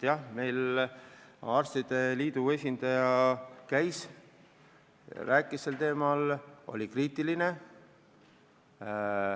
Jah, meil käis kohal arstide liidu esindaja, kes oli kriitiline.